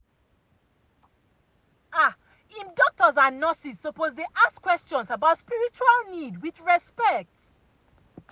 ah em doctors and nurses suppose dey ask questions about spiritual need with respect.